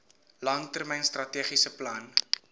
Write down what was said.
langtermyn strategiese plan